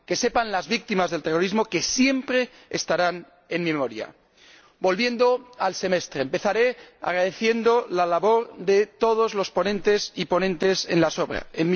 Que sepan las víctimas del terrorismo que siempre estarán en mi memoria. Volviendo al Semestre. Empezaré agradeciendo la labor de todos los ponentes y ponentes alternativos.